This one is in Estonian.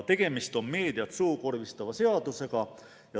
Tegemist on meediat suukorvistava seadusega.